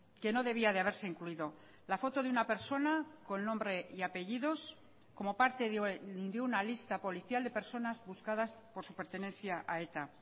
que no debía de haberse incluido la foto de una persona con nombre y apellidos como parte de una lista policial de personas buscadas por su pertenencia a eta